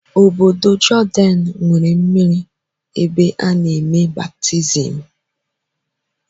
Ọbọdọ Jordan nwere mmiri ebe ana eme baptizim.